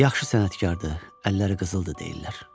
Yaxşı sənətkardır, əlləri qızıldır deyirlər.